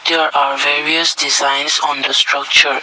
there are various designs on the structure.